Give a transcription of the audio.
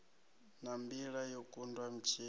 na mbila yo kundwa mutshila